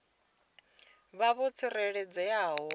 vha vho tsireledzea nga u